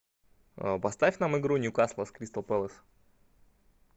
поставь нам игру ньюкасла с кристал пэлас